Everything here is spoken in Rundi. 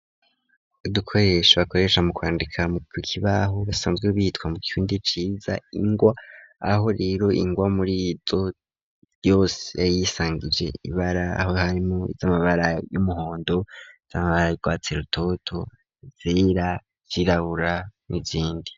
Udukoresha bakoresha mu kwandika mu kukibaho basanzwe bitwa mu kirundi ciza ingwa, aho rero ingwa muri izo zose iba yisangije ibara, aho harimo iz'amabara y'umuhondo, iz'amabara yurwatsi rutoto, izera, izirabura n'izindi.